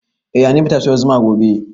Eh hanifa zata siyo zuma gobe